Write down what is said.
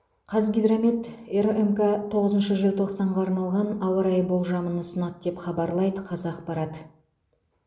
қазгидромет рмк тоғызыншы желтоқсанға арналған ауа райы болжамын ұсынады деп хабарлайды қазақпарат